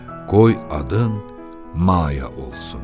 Qoy adın Maya olsun.